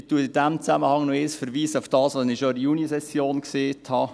Ich verweise in diesem Zusammenhang noch auf das, was ich schon in der Junisession gesagt habe: